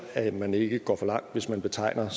at man ikke går for langt hvis man betegner